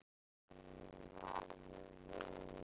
Fólk kann ekki við að fleygja þessu og kemur þá með þetta hingað.